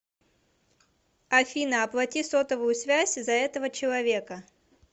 афина оплати сотовую связь за этого человека